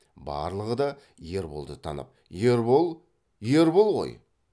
барлығы да ерболды танып ербол ербол ғой